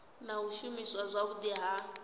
na u shumiswa zwavhudi ha